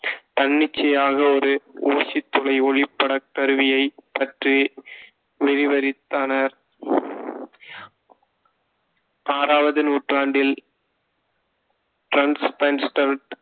தன்னிச்சையாக ஒரு ஊசித் துளை ஒளிப்படக் கருவியைப் பற்றி விரிவிரித்தனர். ஆறாவது நூற்றாண்டில்